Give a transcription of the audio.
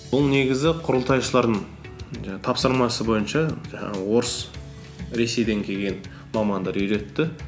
бұл негізі құрылтайшылардың тапсырмасы бойынша жаңағы орыс ресейден келген мамандар үйретті